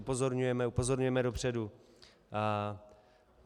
Upozorňujeme, upozorňujeme dopředu.